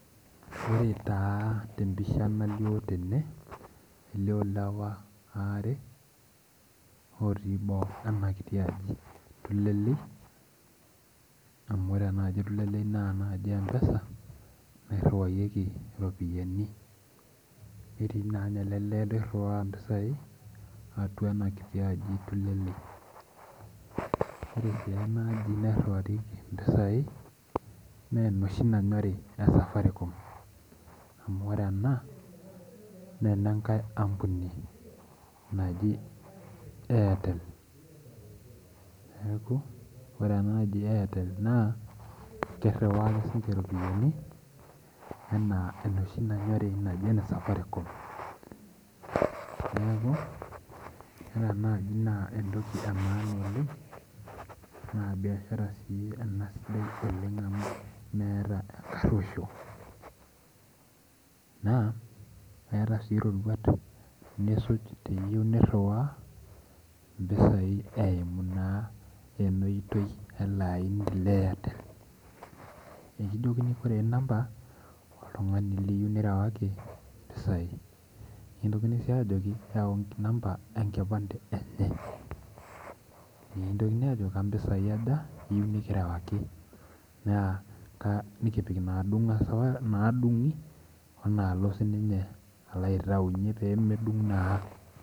Ore taa tempisha nalio tene elio lewa aare otii boo enaji tulelei amu ore enaaji tulelei na ene mpesa naitmriwakinyeki iropiyiani netii ninye ele lew niriwaa mpisai atua enakiti aji tulelei ore si enaaji nairiwakini mpisai na enoshi nanyori e Safaricom amu ore ena na enenkai ampuni naji airtel neaku ore ena na kiriwa ake sinye iropiyani ana enoshi nanyori e Safaricom na biashara ena sidai amu meeta enkaroisho na eeta si roruat nisuj teniyeu niriwaa mpisai emu elaini le Airtel nikijokini korre namba oltungani liyieu nirewaki mpisai nikingili si ajoki yau namba enkipande enye nikintoki ajoki kampisai aja iyieu nikirewaki nikipik nadumgi onalo sininye alo aitaunye pemedung naa.